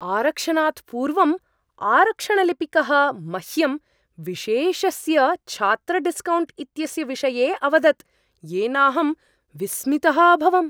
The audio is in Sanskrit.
आरक्षणात् पूर्वम् आरक्षणलिपिकः मह्यं विशेषस्य छात्रडिस्कौण्ट् इत्यस्य विषये अवदत् येनाहं विस्मितः अभवम्।